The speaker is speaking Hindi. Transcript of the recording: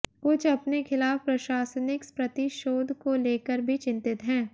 कुछ अपने खिलाफ प्रशासनिक प्रतिशोध को लेकर भी चिंतित हैं